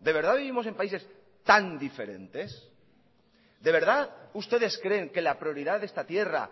de verdad vivimos en países tan diferentes de verdad ustedes creen que la prioridad de esta tierra